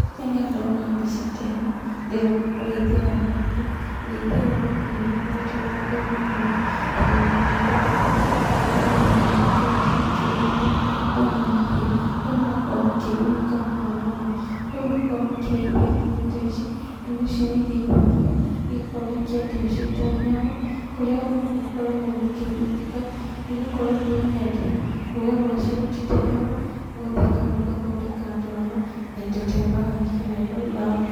Rĩrĩa ndona mbica ta ĩno, ndĩrona ũrĩithia wa mahiũ. Ũrĩithia ũyũ wa mahiũ nĩũkoretwo wĩ na kĩguni mũno thĩiniĩ wa rũrĩrĩ rwitũ, nĩgũkorwo andũ nĩmakoretwo makĩrĩithia mũno mahiũ, kũrĩa marakorwo makĩgunĩka mũno namo. Kũrĩ makoragwo makĩrĩithia ndume ta ici, ndume ici nĩirĩithagio, igakorwo ikĩendio ciĩta nyama, kũrĩa arĩmi makoragwo makĩgunĩka, nĩgũkorwo rĩrĩa mendia, rũwa rwacio rũtitegwo, rũhũthĩkaga rũgathondeka ndarama, na indo ta mbagi kana iratũ.